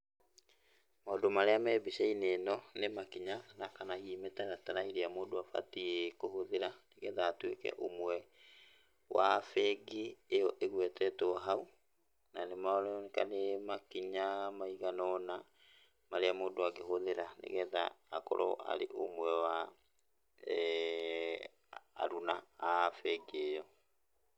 Maũndũ marĩa marĩ mbica-inĩ ino nĩ makinya na kana hihi mĩtaratara ĩrĩa mũndũ agĩrĩirwo kũhũthĩra nĩ getha atuĩke ũmwe wa bengi ĩyo ĩgwetetwo hau. Na nĩ maroneka nĩ makinya maigana ũna marĩa mũndũ angĩhũthĩra nĩ getha akorwo arĩ ũmwe wa aruna a bengi ĩyo.